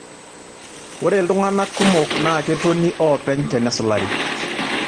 Ore iltung'ana kumok naa nketoni oopeny tenesulari.